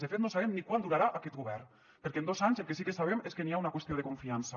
de fet no sabem ni quant durarà aquest govern perquè en dos anys el que sí que sabem és que hi ha una qüestió de confiança